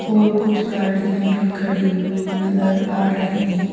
और कुछ गाड़ियाँ भी खड़ी हुई नदर आ रही हैं।